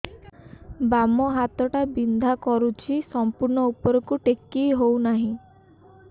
ବାମ ହାତ ଟା ବିନ୍ଧା କରୁଛି ସମ୍ପୂର୍ଣ ଉପରକୁ ଟେକି ହୋଉନାହିଁ